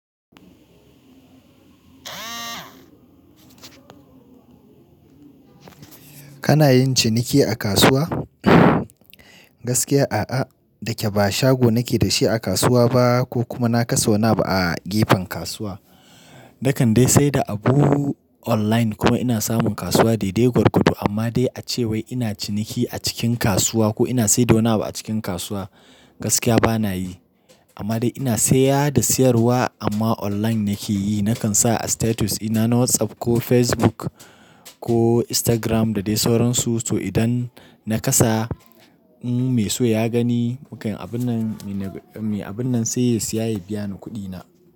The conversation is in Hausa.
Kana yin ciniki a kasuwa? Gaskiya a'a, da ke ba shago nake da shi a kasuwa ba ko kuma na kasa wani abu a gefen kasuwa. Na kande sai da abu online kuma ina samun kasuwa dai-dai gwargwado amma dai a cewa ina ciniki a cikin kasuwa ko ina saida wani abu a cikin kasuwa gaskiya bana yi. Amma dai ina saya da siyarwa amma online nake yi. Nakan sa a status ina na WhatsApp ko Facebook ko Instagram da dai sauransu to idan na kasa in me so ya gani, mukai abun nan me abun nan sai ya siya ya biya ni kuɗi na.